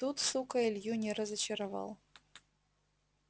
тут сука илью не разочаровал